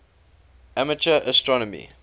amateur astronomy